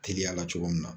Teliyala cogo min na